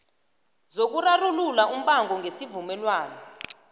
zokurarulula umbango ngesivumelwano